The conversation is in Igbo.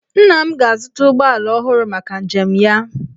Nna m ga-azụta ụgbọala ọhụrụ maka njem ya.